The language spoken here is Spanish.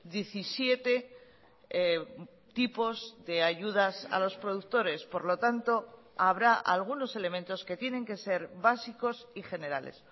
diecisiete tipos de ayudas a los productores por lo tanto habrá algunos elementos que tienen que ser básicos y generales